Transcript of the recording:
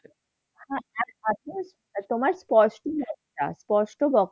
আহ